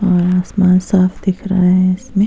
और आसमान साफ दिख रहा है।